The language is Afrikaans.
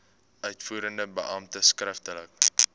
uitvoerende beampte skriftelik